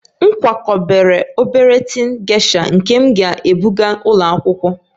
M kwakọbara obere tin gesha nke m ga-ebụga ụlọ akwụkwọ